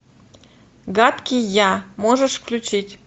гадкий я можешь включить